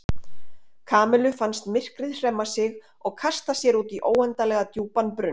Kamillu fannst myrkrið hremma sig og kasta sér út í óendanlega djúpan brunn.